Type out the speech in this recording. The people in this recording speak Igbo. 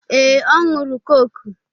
Ee, ọ ṅụrụ kọ́kụ́.